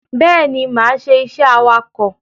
Bẹ́ẹ̀ni, máa ṣe iṣẹ́ awakọ̀.